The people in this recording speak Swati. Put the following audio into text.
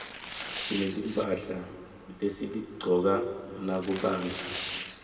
sinetimphahla lesitigcoka nakubandza